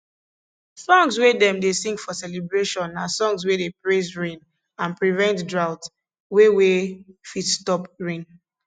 songs wey dem dey sing for celebration na songs wey dey praise rain and prevent drought wey wey fit stop rain